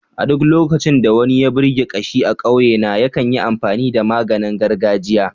A duk lokacin da wani ya birki kashi a ƙauyena, yakan yi amfani da maganin gargajia.